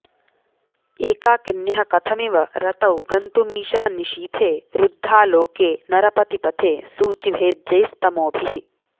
एकाकिन्यः कथमिव रतौ गन्तुमीशा निशीथे रुद्धालोके नरपतिपथे सूचिभेद्यैस्तमोभिः